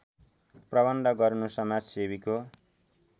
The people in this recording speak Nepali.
प्रबन्ध गर्नु समाजसेवीको